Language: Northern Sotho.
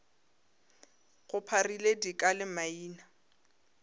go pharile dika le maina